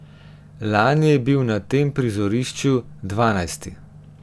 Lani je bil na tem prizorišču dvanajsti.